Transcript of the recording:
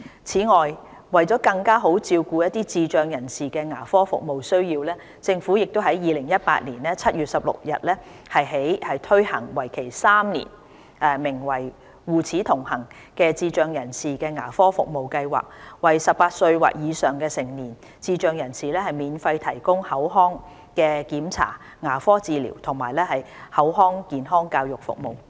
此外，為更好照顧智障人士的牙科服務需要，政府於2018年7月16日起推行為期3年，名為"護齒同行"的智障人士牙科服務計劃，為18歲或以上的成年智障人士免費提供口腔檢查、牙科治療及口腔健康教育服務。